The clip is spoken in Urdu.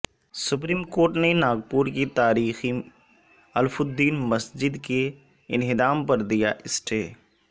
سپریم کورٹ نے ناگپور کی تاریخی الف الدین مسجد کے انہدام پر دیا اسٹے